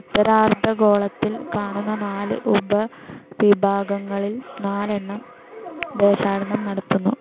ഉത്തരാർദ്ധഗോളത്തിൽ കാണുന്ന നാല് ഉപവിഭാഗങ്ങളിൽ നാലെണ്ണം ദേശാടനം നടത്തുന്നു.